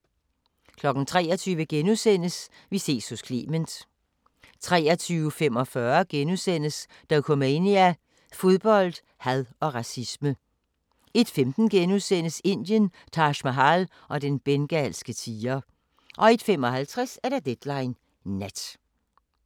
23:00: Vi ses hos Clement * 23:45: Dokumania: Fodbold, had og racisme * 01:15: Indien – Taj Mahal og den bengalske tiger * 01:55: Deadline Nat